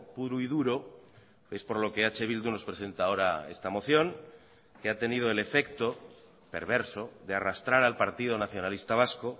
puro y duro es por lo que eh bildu nos presenta ahora esta moción que ha tenido el efecto perverso de arrastrar al partido nacionalista vasco